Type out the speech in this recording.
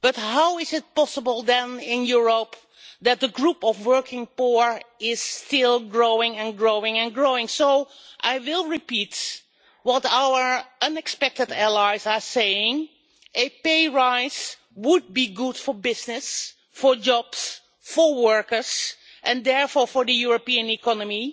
How is it possible then in Europe that the number of working poor is still growing and growing? I will repeat what our unexpected allies are saying, namely that a pay rise would be good for business, for jobs, for workers and therefore for the European economy